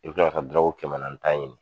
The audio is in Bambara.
I bi kila ka taa kɛmɛ naani ta ɲini